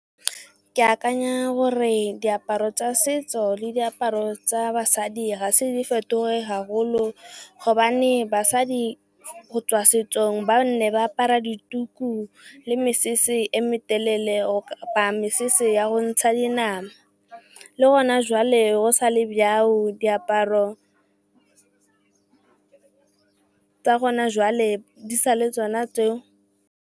Ke akanya gore diaparo tsa setso le diaparo tsa basadi ga se di fetoge haholo gobane basadi go tswa setsong ba ne ba apara dituku le mesese e metelele kapa mesese ya go ntsha dinama. Le gona jwale go sa le jalo diaparo tsa gona jwale di sa le tsona tseo.